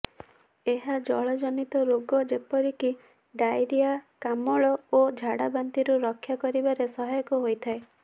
ଏହା ଜଳ ଜନିତ ରୋଗ ଯେପରିକି ଡାଇରିଆ କାମଳ ଓ ଝାଡାବାନ୍ତିରୁ ରକ୍ଷା କରିବାରେ ସହାୟକ ହୋଇଥାଏ